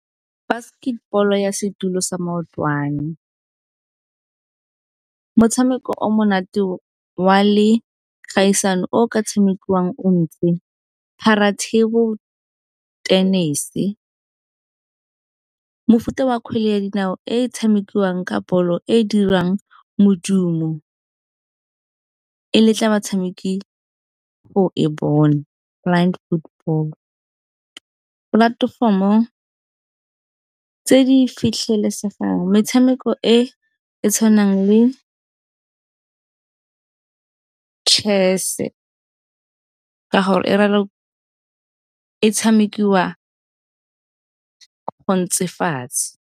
Basketball ya setilo sa maotwana, motshameko o monate wa le kgaisano o ka tshamekiwang o ntse Paratable tennis-e. Mofuta wa kgwele ya dinao e e tshamekiwang ka ball-o e e dirang modumo, e letla batshameki go e bona Football. Polatefomo tse di fitlhelesegang, metshameko e e tshwanang le chess-e ka gore e tshamekiwa o ntse fatshe.